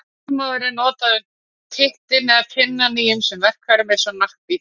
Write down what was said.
Þolinmóður er notað um tittinn eða pinnann í ýmsum verkfærum eins og naglbítum og töngum.